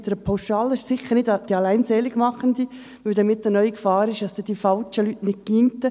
Dies ist sicher nicht die Alleinseligmachende, weil damit erneut die Gefahr besteht, dass die falschen Leute nicht gingen.